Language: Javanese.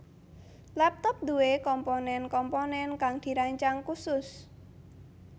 Laptop nduwe komponen komponen kang dirancang khusus